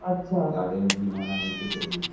अच्छा गाड्यांची म्हणा याची त्याची